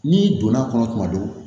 N'i donn'a kɔnɔ tuma dɔ